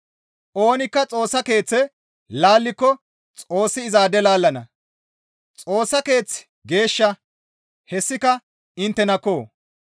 Oonikka Xoossa Keeththe laalliko Xoossi izaade laallana; Xoossa Keeththi geeshsha; hessika inttenakko!